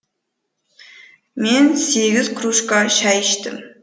мен сегіз кружка шай іштім